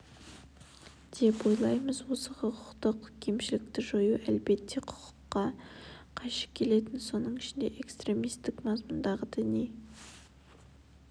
деп ойлаймыз осы құқықтық кемшілікті жою әлбетте құқыққа қайшы келетін соның ішінде экстремистік мазмұндағы діни